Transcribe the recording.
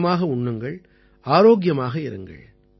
மிதமாக உண்ணுங்கள் ஆரோக்கியமாக இருங்கள்